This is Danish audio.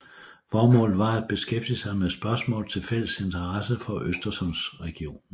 Formålet var at beskæftige sig med spørgsmål af fælles interesse for Øresundsregionen